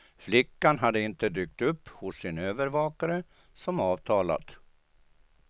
Flickan hade inte dykt upp hos sin övervakare som avtalat.